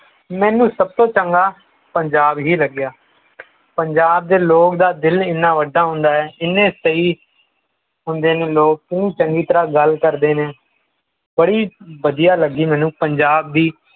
ਮੈਨੂੰ ਸਭ ਤੋਂ ਚੰਗਾ ਪੰਜਾਬ ਹੀ ਲਗਿਆ ਪੰਜਾਬ ਦੇ ਲੋਕਾਂ ਦਾ ਦਿਲ ਏਨਾ ਵੱਡਾ ਹੁੰਦਾ ਹੈ ਇੰਨੇ ਸਹੀ ਹੁੰਦੇ ਨੇ ਲੋਕ ਇੰਨੇ ਚੰਗੀ ਤਰਾਂ ਗਲ ਕਰਦੇ ਨੇ ਬੜੀ ਵਧੀਆ ਲੱਗੀ ਮੈਨੂੰ ਪੰਜਾਬ ਦੀ